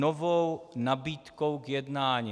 Novou nabídkou k jednání.